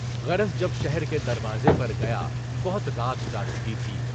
غرض جب شہر کے دروازے پر گیا، بہت رات جا چکی تھی۔